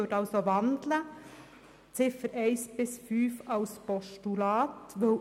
Ich würde also die Ziffern 1 bis 5 in ein Postulat umwandeln.